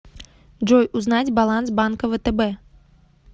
джой узнать баланс банка втб